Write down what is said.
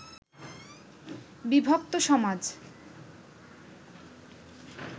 বিভক্ত সমাজ